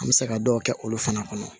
An bɛ se ka dɔw kɛ olu fana kɔnɔ